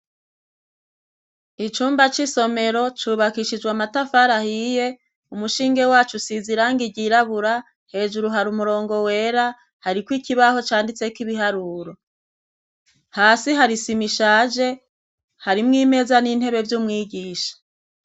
Icumba c'isomero cubakishijwe amatafari ahiye umushinge waco usize iranga ryirabura, hejuru hari umurongo wera, hari ko ikibaho canditse k'ibiharuro. Hasi hari isima ishaje, harimw'imeza n'intebe vy'umwigisha.